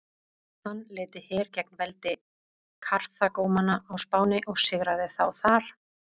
Hann leiddi her gegn veldi Karþagómanna á Spáni og sigraði þá þar.